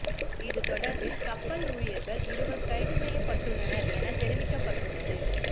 இது தொடர்பில் கப்பல் ஊழியர்கள் இருவர் கைது செய்யப்பட்டுள்ளனர் என தெரிவிக்கப்பட்டுள்ளது